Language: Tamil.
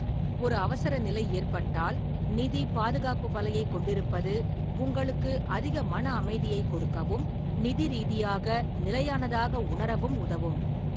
ஒரு அவசரநிலை ஏற்பட்டால் நிதி பாதுகாப்பு வலையைக் கொண்டிருப்பது உங்களுக்கு அதிக மன அமைதியைக் கொடுக்கவும், நிதி ரீதியாக நிலையானதாக உணரவும் உதவும்.